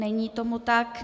Není tomu tak.